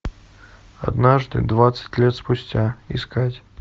однажды двадцать лет спустя искать